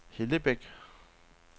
Hellebæk